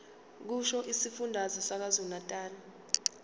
kusho isifundazwe sakwazulunatali